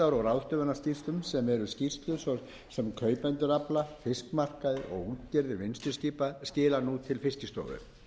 ráðstöfunarskýrslum sem eru skýrslur sem kaupendur afla fiskmarkaðir og útgerðir vinnsluskipa skila nú til fiskistofu